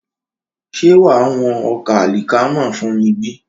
Ṣé wàá wọn ọkà àlìkámà fún mi bí?